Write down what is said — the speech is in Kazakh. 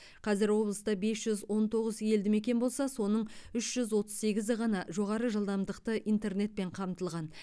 қазір облыста бес жүз он тоғыз елді мекен болса соның үш жүз отыз сегізі ғана жоғары жылдамдықты интернетпен қамтылған